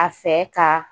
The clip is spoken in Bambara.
A fɛ ka